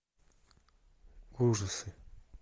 ужасы